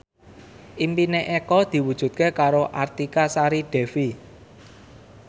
impine Eko diwujudke karo Artika Sari Devi